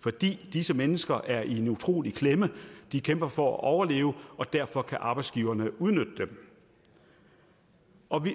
fordi disse mennesker er i en utrolig klemme de kæmper for at overleve og derfor kan arbejdsgiverne udnytte dem